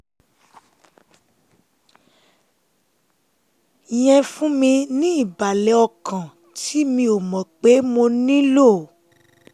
yẹn fún mi ní ìbàlẹ̀ ọkàn tí mi ò mọ̀ pé mo nílò